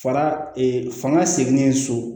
Fara fanga seginnen so